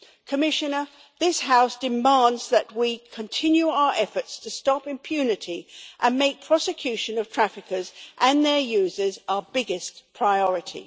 Commissioner, this House demands that we continue our efforts to stop impunity and make prosecution of traffickers and their users our biggest priority.